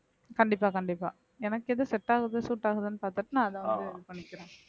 கண்டிப்பா கண்டிப்பா எனக்கு எது set ஆகுது suit ஆகுதுன்னு பாத்துட்டு நான் அத வந்து இது பண்ணிக்கிறேன்